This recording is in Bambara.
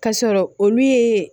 Ka sɔrɔ olu ye